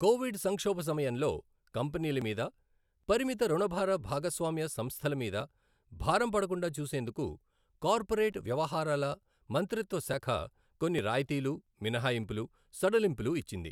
Covid సంక్షోభ సమయంలో కంపెనీల మీద, పరిమిత ఋణభార భాగస్వామ్య సంస్థలమీద భారం పడకుండా చూసేందుకు కార్పొరేట్ వ్యవహారాల మంత్రిత్వశాఖ కొన్ని రాయితీలు, మినహాయింపులు, సడలింపులు ఇచ్చింది.